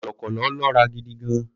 Kọ̀lọ̀kọ̀lọ̀ lọ́ra gidi gan-an.